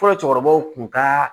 Fɔlɔ cɛkɔrɔbaw kun ka